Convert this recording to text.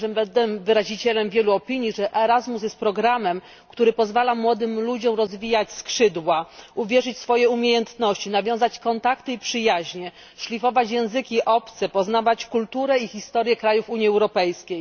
Myślę, że będę wyrazicielem wielu opinii, że ERASMUS jest programem, który pozwala młodym ludziom rozwijać skrzydła, uwierzyć w swoje umiejętności, nawiązać kontakty i przyjaźnie, szlifować języki obce, poznawać kulturę i historię krajów Unii Europejskiej.